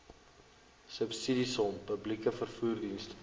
subsidiesom publieke vervoerdienste